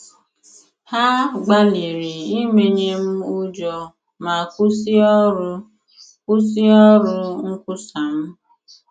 Ha gbalịrị imenye m ụjọ ma kwụsị ọrụ kwụsị ọrụ nkwusa m